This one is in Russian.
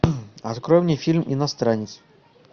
открой мне фильм иностранец